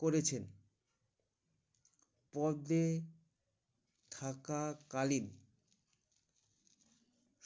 করেছেন পদে থাকা কালীন